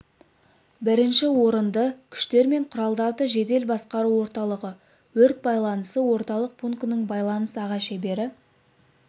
бірінші орынды күштер мен құралдарды жедел басқару орталығы өрт байланысы орталық пунктінің байланыс аға шебері